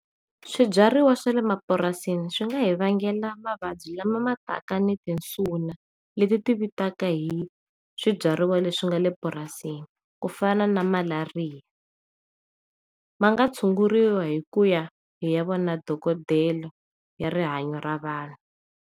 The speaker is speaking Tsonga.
Swibyariwa swale mapurasini swi nga hi vangela mavabyi lama ma taka ni tinsuna leti tivitaka hi swibyariwa leswi nga le purasini ku fana na malariya ma nga tshunguriwa hikuya hi ya vona dokodela ya rihanyo ra vanhu.